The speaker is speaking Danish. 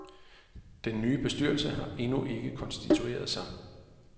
Den nye bestyrelse har endnu ikke konstitueret sig.